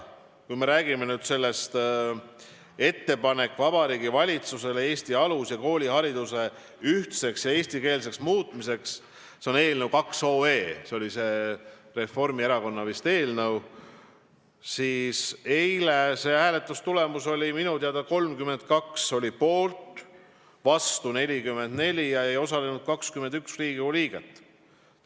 Kui me räägime nüüd eelnõust "Ettepanek Vabariigi Valitsusele Eesti alus- ja koolihariduse ühtseks ja eestikeelseks muutmiseks" – see on eelnõu 2 OE, Reformierakonna fraktsiooni esitatud –, siis eilne hääletustulemus oli minu teada selline: 32 oli poolt, vastu 44 ja ei osalenud 21 Riigikogu liiget.